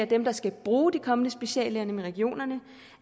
dem der skal bruge de kommende speciallæger nemlig regionerne